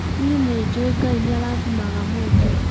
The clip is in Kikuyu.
nĩĩ nĩnjũĩ Ngai nĩarathimaga mũndũ